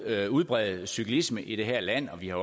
at udbrede cyklisme i det her land og vi har